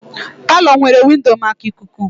Palọ nwere windo maka ikuku ikuku